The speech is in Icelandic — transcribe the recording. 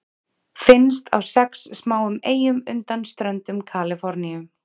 Finnst á sex smáum eyjum undan ströndum Kaliforníu.